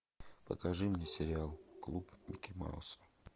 покажи мне сериал клуб микки мауса